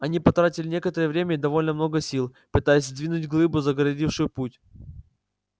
они потратили некоторое время и довольно много сил пытаясь сдвинуть глыбу загородившую путь